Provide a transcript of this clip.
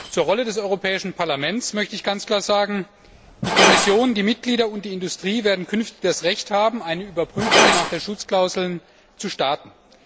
Zur Rolle des Europäischen Parlaments möchte ich ganz klar Folgendes sagen Die Kommission, die Mitglieder und die Industrie werden künftig das Recht haben, eine Überprüfung nach der Schutzklausel zu starten.